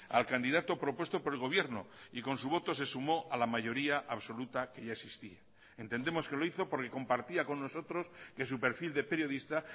al candidato propuesto por el gobierno y con su voto se sumo a la mayoría absoluta que ya existía entendemos que lo hizo porque compartía con nosotros que su perfil de periodista